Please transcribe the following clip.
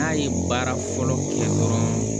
N'a ye baara fɔlɔ kɛ dɔrɔn